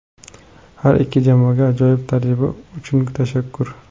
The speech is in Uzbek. Har ikki jamoaga ajoyib tajriba uchun tashakkur.